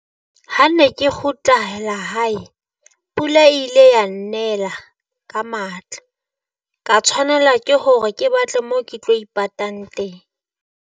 Ha ne ke kgutlehela hae, pula ile ya nnela ka matla, ka tshwanela ke hore ke batle mo ke tlo ipatang teng.